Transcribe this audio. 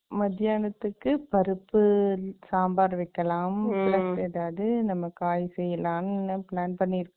மத்தியானத்துக்கு பருப்பு, சாம்பார் வைக்கலாம். அதாவது, நம்ம காய் செய்யலாம்னு, plan பண்ணி இருக்கோம்.